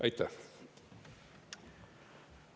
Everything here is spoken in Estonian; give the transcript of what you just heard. Aitäh!